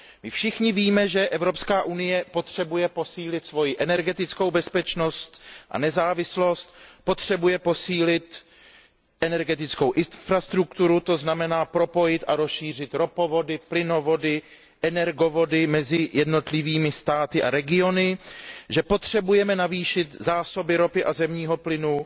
My všichni víme, že Evropská unie potřebuje posílit svoji energetickou bezpečnost a nezávislost, potřebuje posílit energetickou infrastrukturu, to znamená propojit a rozšířit ropovody, plynovody, energovody mezi jednotlivými státy a regiony, že potřebujeme navýšit zásoby ropy a zemního plynu.